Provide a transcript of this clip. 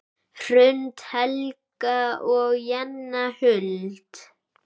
Hrund, Helga og Jenna Huld.